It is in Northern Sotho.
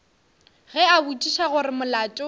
ge a botšiša gore molato